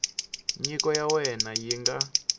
nyiko ya wena yi nga